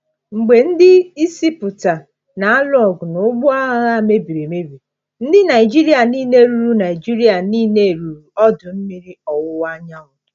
Mgbe ndị Izipụta na-alụ ọgụ na ụgbọ agha ha mebiri emebi, ndị Naịjirịa niile ruru Naịjirịa niile ruru ọdụ mmiri ọwụwa anyanwụ.